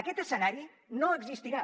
aquest escenari no existirà